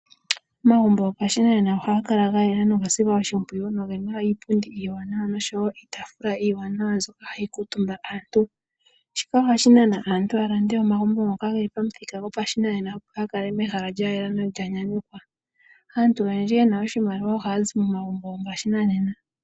Omagumbo gopashinanena ohaga kala ga yela noga silwa oshimpwiyu noge na iipundi iiwanawa nosho wo iitaafula iiwanawa mbyoka hayi kuutumba aantu. Shika ohashi nana aantu ya lande omagumbo ngoka ge li pamuthika gopashinanena ya kale mehala lya yela nolya nyanyukwa. Aantu oyendji ye na oshimaliwa ohaya zi momaugmbo gopashinanena.